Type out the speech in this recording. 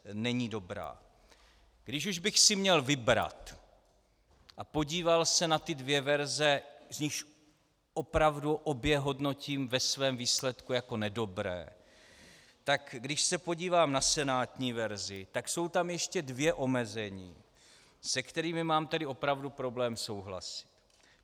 Když už bych si měl vybrat a podíval se na ty dvě verze, z nichž opravdu obě hodnotím ve svém výsledku jako nedobré, tak když se podívám na senátní verzi, tak jsou tam ještě dvě omezení, se kterými mám tedy opravdu problém souhlasit.